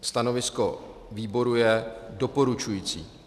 Stanovisko výboru je doporučující.